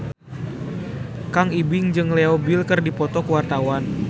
Kang Ibing jeung Leo Bill keur dipoto ku wartawan